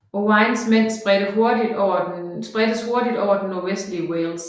Owains mænd spredtes hurtigt over det nordøstlige Wales